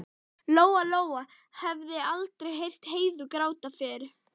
Lóa Lóa hafði aldrei heyrt Heiðu gráta fyrr.